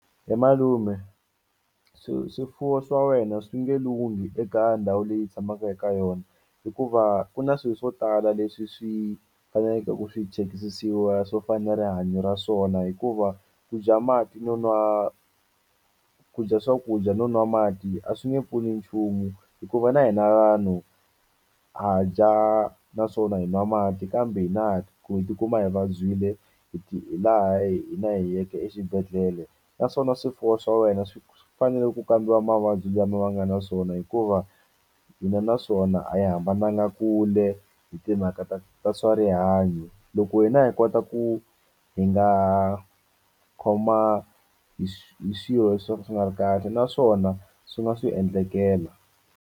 He malume swifuwo swa wena swi nge lunghi eka ndhawu leyi hi tshamaka eka yona hikuva ku na swi swo tala leswi swi faneleke ku swi chekisisiwa swo fana ni rihanyo ra swona hikuva ku dya mati no nwa ku dya swakudya no nwa mati a swi nge pfuni nchumu hikuva na hina vanhu ha dya naswona hi nwa mati kambe hina ku hi tikuma hi vabyile hi laha hina hi yeke exibedhlele naswona swifuwo swa wena swi fanele ku kambiwa mavabyi lama va nga na swona hikuva hina na swona a hi hambananga kule hi timhaka ta ta swa rihanyo loko hina hi kota ku hi nga khoma hi hi swilo leswi swo ka swi nga ri kahle naswona swi nga swi endlekela.